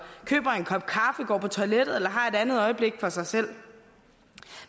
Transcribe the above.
køber en kop kaffe går på toilettet eller har et andet øjeblik for sig selv